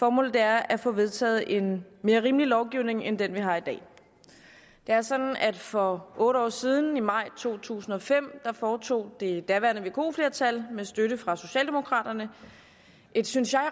formålet er at få vedtaget en mere rimelig lovgivning end den vi har i dag det er sådan at for otte år siden i maj to tusind og fem foretog det daværende vko flertal med støtte fra socialdemokraterne et synes jeg